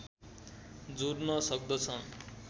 जोड्न सक्दछन्